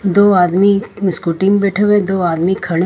दो आदमी स्कूटी में बैठे हुए है दो आदमी खड़े हैं।